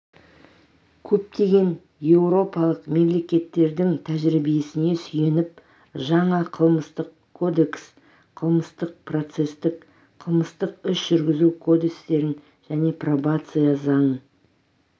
көптеген еуропалық мемлекеттердің тәжірибесіне сүйеніп жаңа қылмыстық кодекс қылмыстық-процестік қылмыстық іс жүргізу кодестерін және пробация заңын